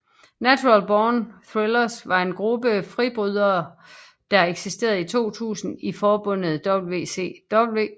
Natural Born Thrillers var en gruppe fribrydere der eksisterede i 2000 i forbundet WCW